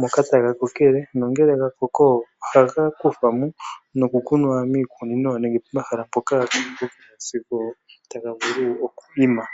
moka taga kokele ngele gakoko ohaga kuthwa mo etaga kunwa moshikunino nenge pomahala mpoka taga vulu oku kala sigo taga imi.